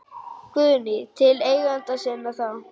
Guðný: Til eigenda sinna þá?